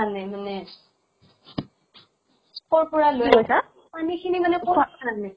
আনে মানে? কৰ পৰা লৈ আনিছা? পানী খিনি মানে কৰ পৰা আনে?